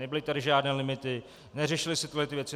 Nebyly tady žádné limity, neřešily se tyhle věci.